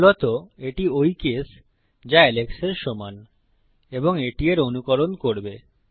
মূলত এটি ওই কেস যা এলেক্সের সমান এবং এটি এর অনুকরণ করবে